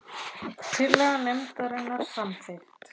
Tillaga nefndarinnar samþykkt